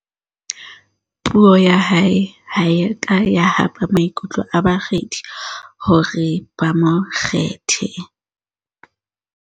puo ya hae ha e a ka ya hapa maikutlo a bakgethi hore ba mo kgethe